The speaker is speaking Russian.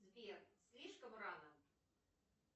сбер слишком рано